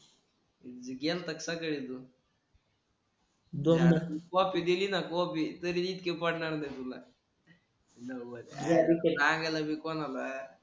गेलात का सकाळी तू कॉपी देली न कॉपी तरी इतके पडणार नाही तुला. सांगू नग कोणाला.